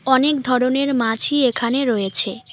অনেক ধরনের মাছই এখানে রয়েছে।